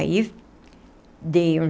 Aí, dei um...